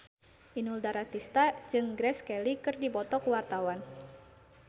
Inul Daratista jeung Grace Kelly keur dipoto ku wartawan